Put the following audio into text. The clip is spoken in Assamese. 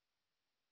অশেষ ধন্যবাদ